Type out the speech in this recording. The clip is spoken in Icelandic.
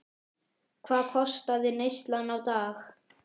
Hvað kostaði neyslan á dag?